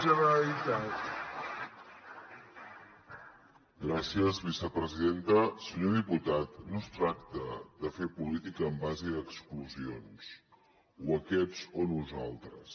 senyor diputat no es tracta de fer política en base a exclusions o aquests o nosaltres